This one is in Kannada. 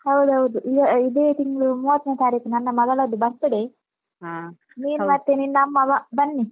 ಹೌದ್ಹೌದು, ಇದ್~ ಇದೇ ತಿಂಗ್ಳು ಮೂವತ್ನೆ ತಾರೀಕು ನನ್ನ ಮಗಳದ್ದು birthday , ನೀನು ಮತ್ತೆ ನಿನ್ನಮ್ಮವ ಬನ್ನಿ.